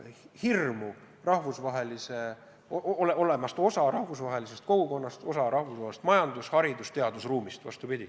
Me tahame olla osa rahvusvahelisest kogukonnast, rahvusvahelisest majandus-, haridus- ja teadusruumist.